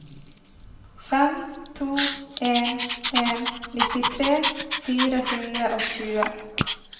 fem to en en nittitre fire hundre og tjue